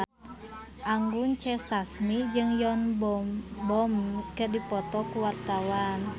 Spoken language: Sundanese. Anggun C. Sasmi jeung Yoon Bomi keur dipoto ku wartawan